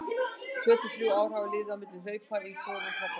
Tvö til þrjú ár hafa liðið á milli hlaupa í hvorum katlanna.